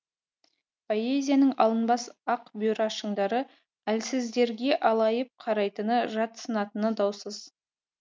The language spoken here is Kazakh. поэзияның алынбас ақ бұйра шыңдары әлсіздерге алайып қарайтыны жатсынатыны даусыз